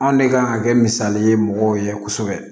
Anw ne kan ka kɛ misali ye mɔgɔw ye kosɛbɛ